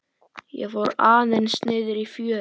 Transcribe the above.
Ég fór aðeins niðrí fjöru.